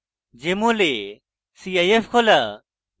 jmol এ cif খোলা